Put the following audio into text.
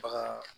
Bagan